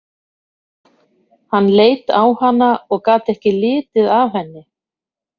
Hann leit á hana og gat ekki litið af henni.